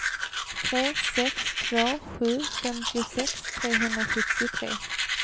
tre sex två sju femtiosex trehundrasjuttiotre